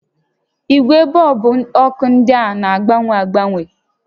Igwe bọọlbụ ọkụ ndịa na-agbanwe agba